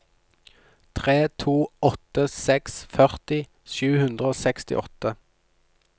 tre to åtte seks førti sju hundre og sekstiåtte